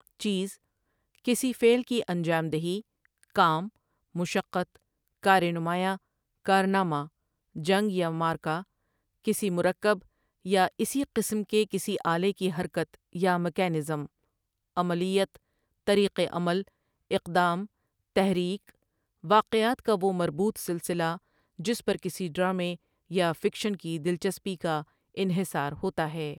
چیز، کسی فعل کی انجام دہی، کام، مشقت، کارنمایاں، کارنامہ، جنگ یا معرکہ، کسی مرکب یا اسی قسم کے کسی آلے کی حرکت یا میکانزم، عملیت، طریق عمل، اقدام، تحریک، واقعات کا وہ مربوط سلسلہ جس پر کسی ڈرامے یا فکشن کی دلچسپی کا انحصار ہوتا ہے۔